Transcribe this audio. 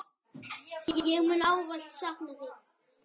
Ég mun ávallt sakna þín.